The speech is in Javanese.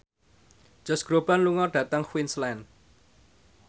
Josh Groban lunga dhateng Queensland